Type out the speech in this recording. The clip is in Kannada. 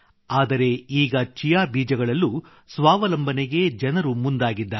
ಆದರೆ ಈಗ ಚಿಯಾ ಬೀಜಗಳಲ್ಲೂ ಸ್ವಾವಲಂಬನೆಗೆ ಜನರು ಮುಂದಾಗಿದ್ದಾರೆ